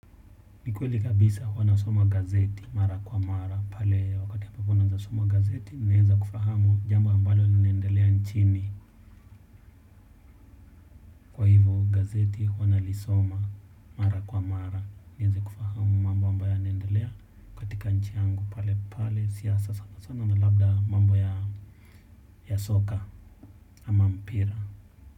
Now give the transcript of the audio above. Ni kweli kabisa huwa nasoma gazeti mara kwa mara pale wakati ya papo wanasoma gazeti naeza kufahamu jambo ambalo linaendelea nchini. Gazeti huwa nalisoma mara kwa mara nieze kufahamu mambo ambayo yanaendelea. Katika nchi yangu pale pale siasa sana sana na labda mambo ya soka ama mpira.